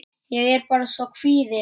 Ég er bara svo kvíðin.